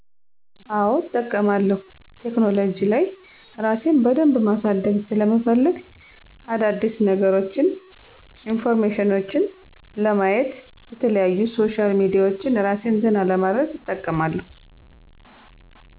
አዎ እጠቀማለሁ ቴክኖሉጂ ላይ እራሴን በደንብ ማሳደግ ሰለምፈልግ አዳዲስነገሮች ኢንፎርሜሽኔችን ለማየት የተለያዩ ሶሻል ሚዲያዎች እራሴን ዘና ለማድረግ እጠቀማለሁ።